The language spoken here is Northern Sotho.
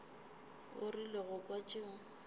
o rile go kwa tšeo